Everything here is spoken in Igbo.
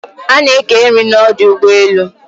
A na eke nri n'odu ugbo elu